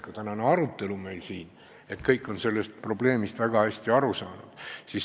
Ka tänane arutelu siin saalis on näidanud, et kõik on sellest probleemist hästi aru saanud.